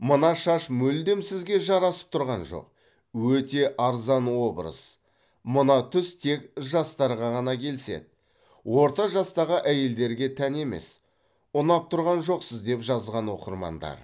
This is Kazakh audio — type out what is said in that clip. мына шаш мүлдем сізге жарасып тұрған жоқ өте арзан образ мына түс тек жастарға ғана келіседі орта жастағы әйелдерге тән емес ұнап тұрған жоқсыз деп жазған оқырмандар